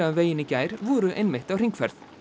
veginn í gær voru einmitt á hringferð